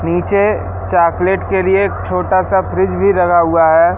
नीचे चॉकलेट के लिए एक छोटा सा फ्रिज भी लगा हुआ है।